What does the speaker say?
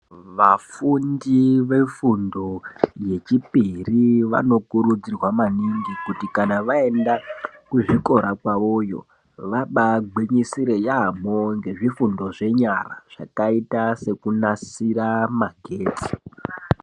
Vafundi vefundo yechipiri vankurudzirwa maningi kuti kana vaenda kuzvikora zvavo vabagwinyisire yamho nezvifundo zvavo zvenyara zvakaite sekunadzire masimbi.